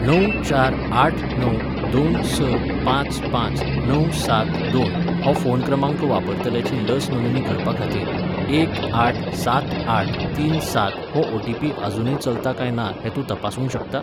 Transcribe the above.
णव चार आठ णव दोन स पांच पांच णव सात दोन हो फोन क्रमांक वापरतल्याची लस नोंदणी करपाखातीर एक आठ सात आठ तीन सात हो ओ.टी.पी. अजूनय चलता काय ना तें तूं तपासूंक शकता?